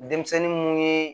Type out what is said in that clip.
Denmisɛnnin mun ye